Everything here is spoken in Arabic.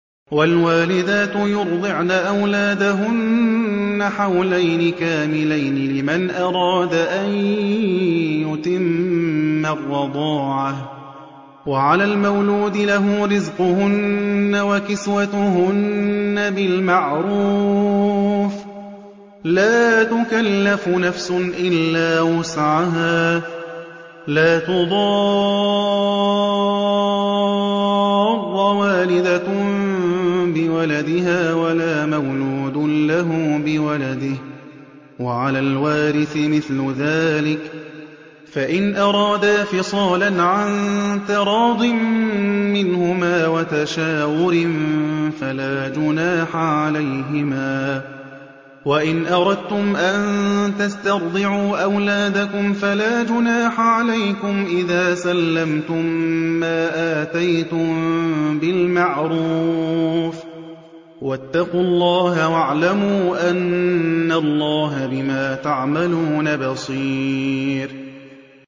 ۞ وَالْوَالِدَاتُ يُرْضِعْنَ أَوْلَادَهُنَّ حَوْلَيْنِ كَامِلَيْنِ ۖ لِمَنْ أَرَادَ أَن يُتِمَّ الرَّضَاعَةَ ۚ وَعَلَى الْمَوْلُودِ لَهُ رِزْقُهُنَّ وَكِسْوَتُهُنَّ بِالْمَعْرُوفِ ۚ لَا تُكَلَّفُ نَفْسٌ إِلَّا وُسْعَهَا ۚ لَا تُضَارَّ وَالِدَةٌ بِوَلَدِهَا وَلَا مَوْلُودٌ لَّهُ بِوَلَدِهِ ۚ وَعَلَى الْوَارِثِ مِثْلُ ذَٰلِكَ ۗ فَإِنْ أَرَادَا فِصَالًا عَن تَرَاضٍ مِّنْهُمَا وَتَشَاوُرٍ فَلَا جُنَاحَ عَلَيْهِمَا ۗ وَإِنْ أَرَدتُّمْ أَن تَسْتَرْضِعُوا أَوْلَادَكُمْ فَلَا جُنَاحَ عَلَيْكُمْ إِذَا سَلَّمْتُم مَّا آتَيْتُم بِالْمَعْرُوفِ ۗ وَاتَّقُوا اللَّهَ وَاعْلَمُوا أَنَّ اللَّهَ بِمَا تَعْمَلُونَ بَصِيرٌ